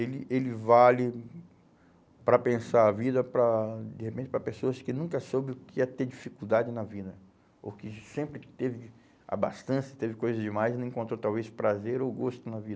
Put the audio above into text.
Ele ele vale para pensar a vida, para, de repente, para pessoas que nunca soube o que é ter dificuldade na vida, ou que sempre teve ah bastante, teve coisas demais e não encontrou, talvez, prazer ou gosto na